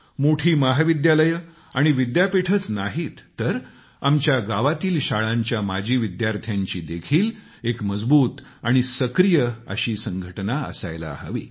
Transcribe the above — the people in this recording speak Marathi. मोठी महाविद्यालये आणि विद्यापीठेच नाहीत तर आमच्या गावातील शाळांच्या माजी विद्यार्थ्यांची देखील एक मजबूत आणि सक्रीय अशी संघटना असायला हवी